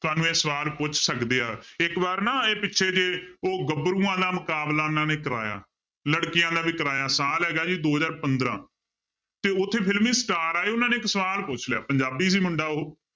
ਤੁਹਾਨੂੰ ਇਹ ਸਵਾਲ ਪੁੱਛ ਸਕਦੇ ਆ, ਇੱਕ ਵਾਰ ਨਾ ਇਹ ਪਿੱਛੇ ਜਿਹੇ ਉਹ ਗਭਰੂਆਂ ਦਾ ਮੁਕਾਬਲਾ ਉਹਨਾਂ ਨੇ ਕਰਵਾਇਆ ਲੜਕੀਆਂ ਦਾ ਵੀ ਕਰਵਾਇਆ ਸਾਲ ਹੈਗਾ ਜੀ ਦੋ ਹਜ਼ਾਰ ਪੰਦਰਾਂ ਤੇ ਉੱਥੇ ਫਿਲਮੀ star ਆਏ ਉਹਨਾਂ ਨੇ ਇੱਕ ਸਵਾਲ ਪੁੱਛ ਲਿਆ ਪੰਜਾਬੀ ਸੀ ਮੁੰਡਾ ਉਹ